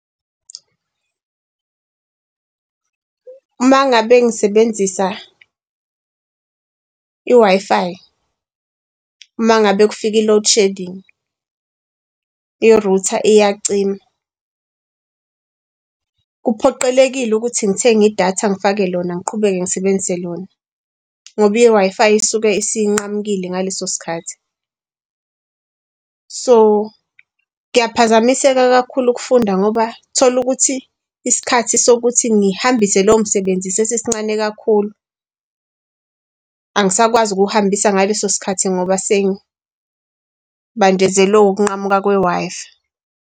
Uma ngabe ngisebenzisa i-Wi-Fi uma ngabe kufika i-loadshedding i-router iyacima kuphoqelekile ukuthi ngithenge i-data ngifake lona ngiqhubeke ngisebenzise lona ngoba i-Wi-Fi isuke isinqamukile ngaleso sikhathi. So kuyaphazamiseka kakhulu ukufunda ngoba tholukuthi isikhathi sokuthi ngihambise lowo msebenzi sesisincane kakhulu. Angisakwazi ukuwuhambisa ngaleso sikhathi ngoba seng'banjezelwe ukunqamuka kwe-Wi-Fi.